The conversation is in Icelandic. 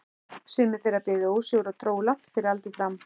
Sumir þeirra biðu ósigur og dóu langt fyrir aldur fram.